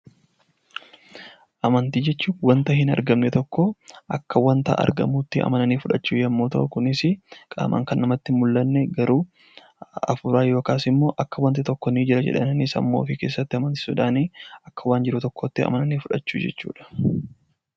Amantii jechuun wanta hin argamne tokko akka waan argamuutti amananii fudhachuu yommuu ta'u, kunis qaamaan kan namatti hin mul'anne garuu hafuuraan wanti tokko ni jira jedhanii sammuu ofii keessatti amananii fudhachuu jechuudha.